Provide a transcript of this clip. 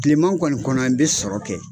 Tileman kɔni kɔnɔ n be sɔrɔ kɛ.